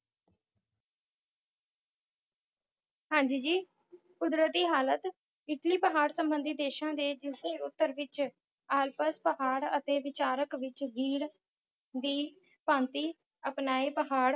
ਹਾਂਜੀ ਜੀ ਕੁਦਰਤੀ ਹਾਲਤ ਇੱਟਲੀ ਬਹਾਰ ਸਬੰਧੀ ਦੇਸ਼ਾਂ ਦੇ ਦੱਖਣੀ ਉਤਰ ਵਿਚ ਆਲਪਸ ਪਹਾੜ ਅਤੇ ਵਿਚਾਲਕ ਵਿਚ ਰੀੜ੍ਹ ਦੀ ਭਾਂਤਿ ਅਪਣਾਏ ਪਹਾੜ